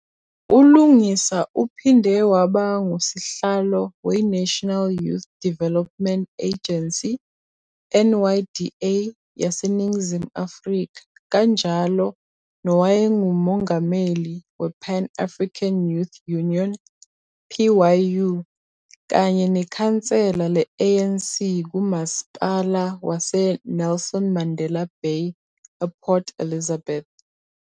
ULungisa uphinde waba ngusihlalo weNational Youth Development Agency, NYDA, yaseNingizimu Afrika kanjalo nowayenguMongameli wePan-African Youth Union, PYU, kanye nekhansela le-ANC kuMasipala waseNelson Mandela Bay ePort Elizabeth.